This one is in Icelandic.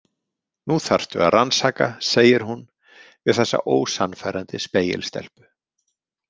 Nú þarftu að rannsaka, segir hún við þessa ósannfærandi spegilstelpu.